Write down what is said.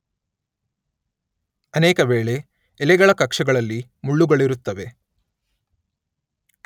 ಅನೇಕ ವೇಳೆ ಎಲೆಗಳ ಕಕ್ಷಗಳಲ್ಲಿ ಮುಳ್ಳುಗಳಿರುತ್ತವೆ.